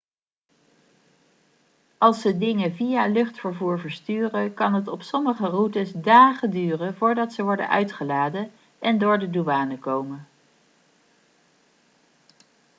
als ze dingen via luchtvervoer versturen kan het op sommige routes dagen duren voordat ze worden uitgeladen en door de douane komen